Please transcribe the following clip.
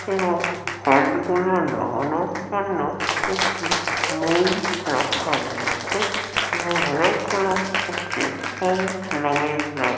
এবং ফাইল গুলো নামানোর জন্যে একটি মোই রাখা রয়েছে-এ এবং অনেক গুলো নামিয়ে দিয়েছে।